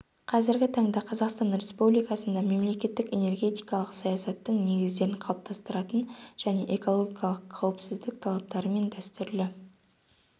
қазіргі таңда қазақстан республикасында мемлекеттік энергетикалық саясаттың негіздерін қалыптастыратын және экологиялық қауіпсіздік талаптары мен дәстүрлі